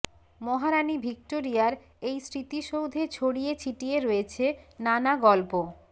মহারানি ভিক্টোরিয়ার এই স্মৃতিসৌধে ছড়িয়ে ছিটিয়ে রয়েছে নানা গল্প